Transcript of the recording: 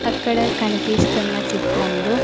అక్కడ కనిపిస్తున్న చిత్రంలో.